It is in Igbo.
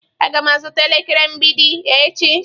Aga m azụta elekere mgbidi echi.